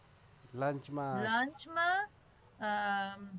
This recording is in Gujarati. lunch માં